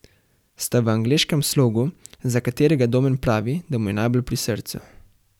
Sta v angleškem slogu, za katerega Domen pravi, da mu je najbolj pri srcu.